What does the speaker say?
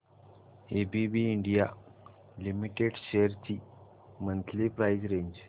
ABB India limited shares ची monthly price range